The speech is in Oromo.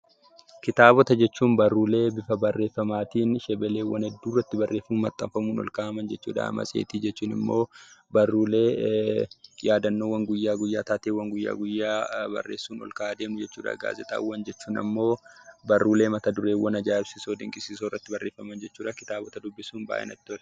Kitaabota jechuun barruulee bifa barreeffamaatiin shebeleewwan hedduu irratti barreeffamanii maxxanfamuun ol kaa'aman jechuu dha. Matseetii jechuun immoo barruulee yaadannoowwan guyyaa guyyaa, taateewwan guyyaa guyyaa barreessuun ol kaa'aa deemnu jechuu dha. Gaazexaawwan jechuun ammoo barruulee mata-dureewwan ajaa'ibsiisoo dinqisiisoo irratti barreeffaman jechuu dha. Kitaabota dubbisuun baay'ee natti tola.